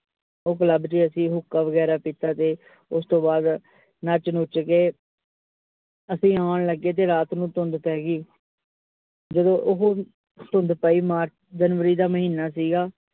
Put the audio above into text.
ਉਹ club ਵਿਚ ਅਸੀ ਹੂਕਾਂ ਵਗੈਰਾ ਪੀਤਾ, ਤੇ ਉਸ ਤੋਂ ਬਾਦ ਨੱਚ ਨੁੱਚ ਕੇ ਅਸੀ ਆਉਂਣ ਲਗੇ, ਤੇ ਰਾਤ ਨੂੰ ਧੁੰਦ ਪੈ ਗਈ ਜਦੋ ਉਹ ਧੁੰਦ ਪਈ march january ਦਾ ਮਹੀਨਾ ਸੀਗਾ ।